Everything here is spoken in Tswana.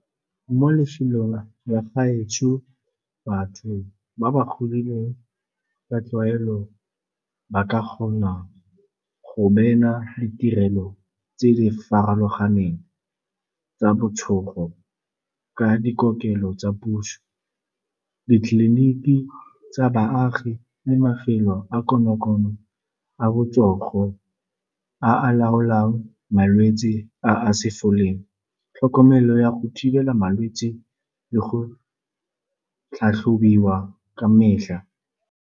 Mo lefelong la gaetsho, batho ba ba godileng ka tlwaelo ba kgona go beela ditirelo tse di farologaneng tsa ka dikokelo tsa puso, ditleliniki tsa baagi le mafelo a konokono a botsogo a a laolang malwetsi a a sa foleng. Tlhokomelo ya go thibela malwetsi le go tlhatlhobiwa ka metlha.